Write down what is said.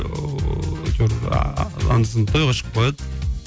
ыыы әйтеуір анда санда тойға шығып қояды